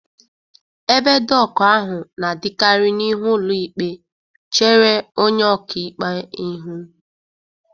Ebe doku ahụ na-adịkarị n'ihu ụlọ ikpe, chere onye ọka ikpe ihu.